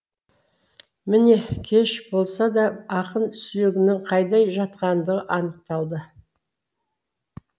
міне кеш болса да ақын сүйегінің қайда жатқандығы анықталды